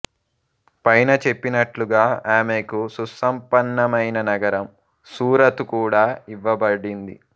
పైన చెప్పినట్లుగా ఆమెకు సుసంపన్నమైన నగరం సూరతు కూడా ఇవ్వబడింది